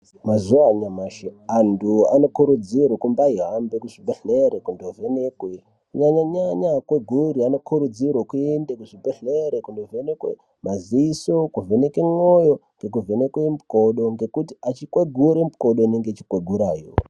mazuva anyamashi andu anokurudzirwa kuhamba muzvibhlera kundovhenekwe, kunyanyanyanya akweguri anokuridzirwe kuende kuzvibhlere kuvhenekwe madziso , nekuvhenekwe moyo nemukodo ngekuti ekwegura mikodo inenge yeikwegurawo.